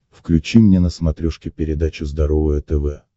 включи мне на смотрешке передачу здоровое тв